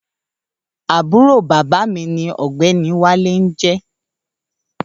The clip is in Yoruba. Àbúrò bàbá mi ni ọ̀gbẹ́ni Wálé jẹ́.